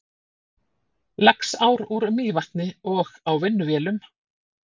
Laxár úr Mývatni og á vinnuvélum.